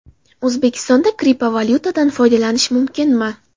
O‘zbekistonda kriptovalyutadan foydalanish mumkinmi?.